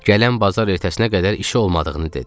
Gələn bazar ertəsinə qədər işi olmadığını dedi.